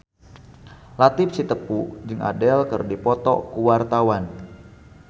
Latief Sitepu jeung Adele keur dipoto ku wartawan